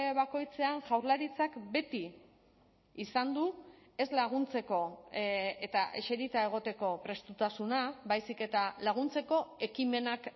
bakoitzean jaurlaritzak beti izan du ez laguntzeko eta eserita egoteko prestutasuna baizik eta laguntzeko ekimenak